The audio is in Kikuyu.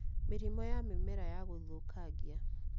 Mĩrimũ ya mĩmera ya gũthũkangia